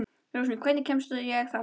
Rósmarý, hvernig kemst ég þangað?